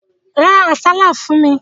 Ra àsálà fún mi.